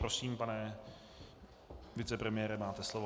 Prosím, pane vicepremiére, máte slovo.